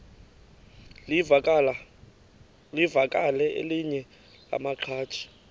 livakele elinye lamaqhaji